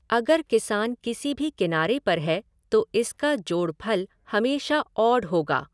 अगर किसान किसी भी किनारे पर है तो इसका जोड़फल हमेशा ऑड होगा।